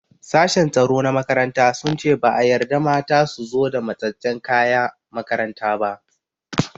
Sashen tsaro na makaranta sun ce ba a yarda mata su zo da matsatsen kaya makaranta ba.